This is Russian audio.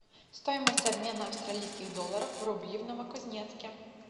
стоимость обмена австралийских долларов в рубли в новокузнецке